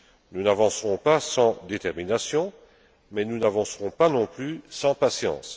Nous n'avancerons pas sans détermination, mais nous n'avancerons pas non plus sans patience.